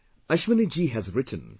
Ashwani ji has written